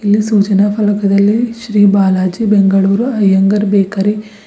ಈ ಸೂಚನ ಫಲಕದಲ್ಲಿ ಶ್ರೀ ಬಾಲಾಜಿ ಬೆಂಗಳೂರು ಅಯ್ಯಂಗಾರ್ ಬೇಕರಿ --